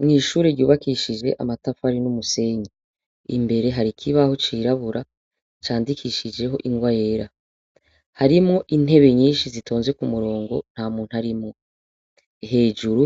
Mw'ishure ryubakishijwe amatafari n'umusenyi, imbere hari ikibaho cirabura candikishijeho ingwa yera, harimwo intebe nyinshi zitonze ku murongo nta muntu arimwo, hejuru